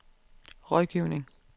rådgivning